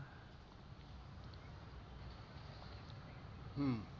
হম